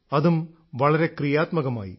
അതും വളരെ ക്രിയാത്മകമായി